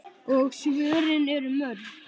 Og svörin eru mörg.